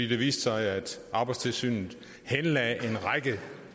det viste sig at arbejdstilsynet henlagde en række